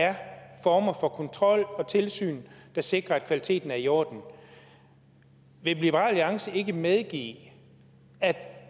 er der former for kontrol og tilsyn der sikrer at kvaliteten er i orden vil liberal alliance ikke medgive at